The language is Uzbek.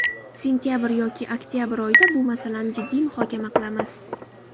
Sentabr yoki oktabr oyida bu masalani jiddiy muhokama qilamiz.